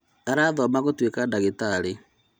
Arathoma gũtuĩka ndagĩtarĩ